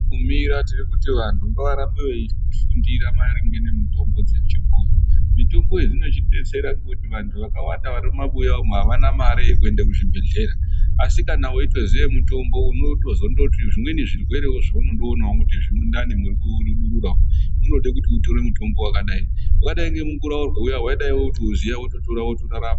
Tiriyo tiri kuti vantu ngavarambe veifundira maringe nemitombo yechibhoyi mitombo idzi dzinotidetsera ngekuti vantu vakawanda vari mumabuya umu avana mare yekuende kuzvibhedhleya asi kana weitoziye mutombo unotozondort zvimweni zvirwere zveunondoonawo kuti mundani muri kurudunura unode kuti utore mutombo wakadai wakadai ngemukura wadai utoziya wototora wotorarama.